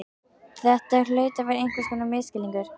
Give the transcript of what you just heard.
Þetta hlaut að vera einhvers konar misskilningur.